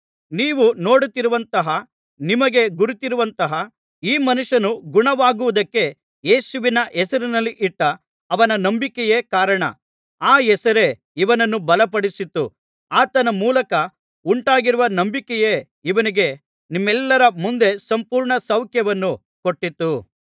ನೀವು ನೋಡುತ್ತಿರುವಂತಹ ನಿಮಗೆ ಗುರುತಿರುವಂತಹ ಈ ಮನುಷ್ಯನು ಗುಣವಾಗುವುದಕ್ಕೆ ಯೇಸುವಿನ ಹೆಸರಿನಲ್ಲಿ ಇಟ್ಟ ಅವನ ನಂಬಿಕೆಯೇ ಕಾರಣ ಆ ಹೆಸರೇ ಇವನನ್ನು ಬಲಪಡಿಸಿತು ಆತನ ಮೂಲಕ ಉಂಟಾಗಿರುವ ನಂಬಿಕೆಯೇ ಇವನಿಗೆ ನಿಮ್ಮೆಲ್ಲರ ಮುಂದೆ ಸಂಪೂರ್ಣಸೌಖ್ಯವನ್ನು ಕೊಟ್ಟಿತು